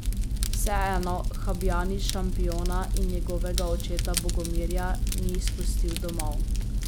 Vseeno Habjanič šampiona in njegovega očeta Bogomirja ni izpustil domov.